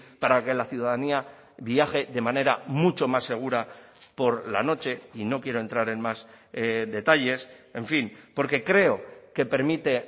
para que la ciudadanía viaje de manera mucho más segura por la noche y no quiero entrar en más detalles en fin porque creo que permite